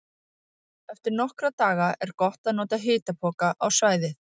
Eftir nokkra daga er gott að nota hitapoka á svæðið.